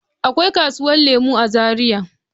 Akwai kasuwar lemu a zaria.